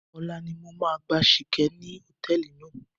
Ọ̀la ni mo máa gbá Ṣìkẹ́ ní hòtẹ́ẹ̀lì náà.